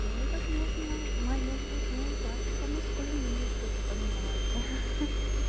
и возможно в моём роду даже по мужской линии что-то поменяется